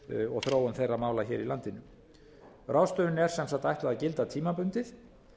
og þróun þeirra mála hér í landinu ráðstöfuninni er sem sagt ætlað ætlað að gilda tímabundið